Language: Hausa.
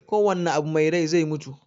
Kowanne abu me rai zai mutu.